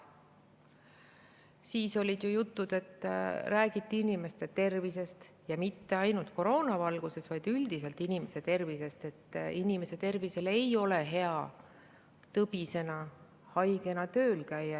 Siis räägiti inimeste tervisest, ja mitte ainult koroona valguses, vaid üldiselt inimese tervisest ja sellest, et ei ole hea, kui inimene tõbisena, haigena tööl käib.